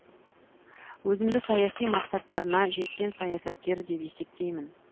өзімді саяси мақсаттарына жеткен саясаткер деп есептеймін